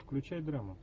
включай драму